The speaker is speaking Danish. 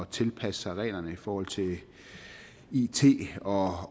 tilpasse sig reglerne i forhold til it og